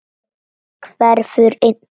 Og nú rífur hann í.